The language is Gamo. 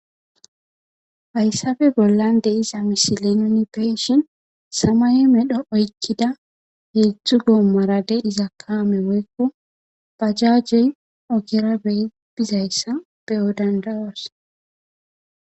Hayssafe bollan de iza misilenoni beeshin samay medho oykkida heedzdzu goommarade iza kaame woykko bajajey ogera bey bizayssa beyo dandawos